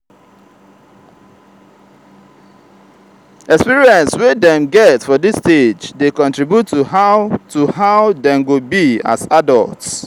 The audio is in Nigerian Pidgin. experience wey dem get for dis stage de contribute to how to how dem go be as adults